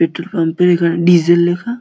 Petrol পাম্পে এখানে diesel লেখা।